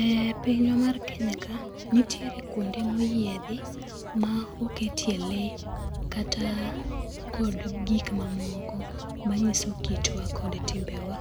E pinywa mar Kenya ka nitiere kuonde moyiedhi ma oketie le kata kod gik mamoko manyiso kitwa kod timbewa.